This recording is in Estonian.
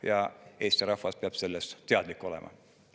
Ja Eesti rahvas peab sellest teadlik olema.